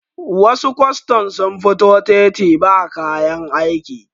wasu kwastan sun fito titi ba kayan aiki